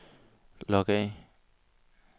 log af